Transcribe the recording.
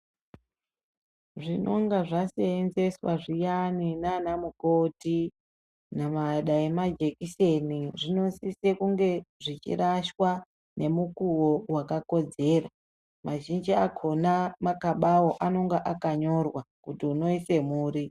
Zvinonga zvasenzeswa zviyani naanamukoti ,nama dai majekiseni zvinosise kunge zvichirashwa nemukuwo wakakodzera. Mazhinji akhona makabawo, anonga akanyorwa, kuti unoise muri.